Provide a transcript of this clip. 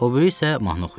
O biri isə mahnı oxuyur.